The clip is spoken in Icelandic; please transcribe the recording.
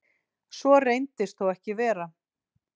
Svo reyndist þó ekki vera